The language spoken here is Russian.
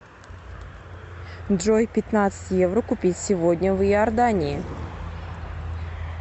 джой пятнадцать евро купить сегодня в иордании